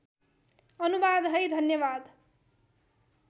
अनुवाद है धन्यवाद